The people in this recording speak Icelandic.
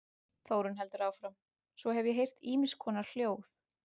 Þórunn heldur áfram:- Svo hef ég heyrt ýmiss konar hljóð.